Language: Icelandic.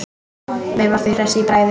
Veifar því hress í bragði.